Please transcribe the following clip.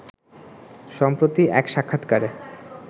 সম্প্রতি এক সাক্ষাৎকারে